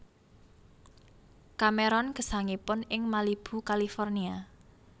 Cameron gesangipun ing Malibu California